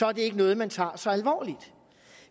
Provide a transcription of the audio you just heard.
er det ikke noget man tager så alvorligt